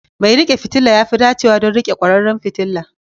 Mai riƙe fitila ya fi dacewa don riƙe kwararan fitila.